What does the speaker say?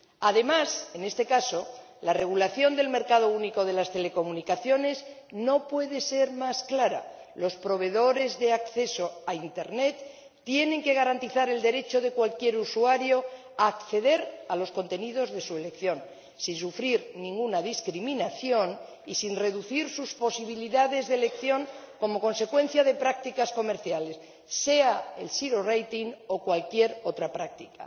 Además, en este caso, el Reglamento del mercado único de las telecomunicaciones no puede ser más claro los proveedores de acceso a Internet tienen que garantizar el derecho de cualquier usuario a acceder a los contenidos de su elección, sin sufrir ninguna discriminación y sin reducir sus posibilidades de elección como consecuencia de prácticas comerciales, sea el zero rating o cualquier otra práctica.